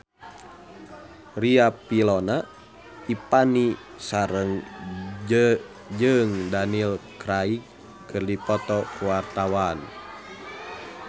Riafinola Ifani Sari jeung Daniel Craig keur dipoto ku wartawan